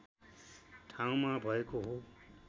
ठाउँमा भएको हो